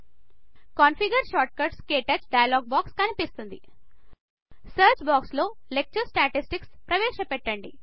configure shortcuts - క్టచ్ dialog box కనిపిస్తుంది search box లో లెక్చర్ స్ట్యాటిస్టిక్స్ ప్రవేశపెట్టండి